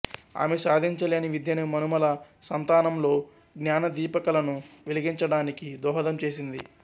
ఆమె సాధించలేని విద్యను మనుమల సంతానంలో ఙానదీపికలను వెలిగించడానికి దోహదం చేసింది